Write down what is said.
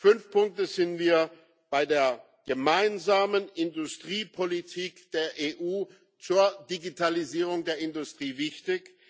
Fünf Punkte sind bei der gemeinsamen Industriepolitik der EU zur Digitalisierung der Industrie wichtig.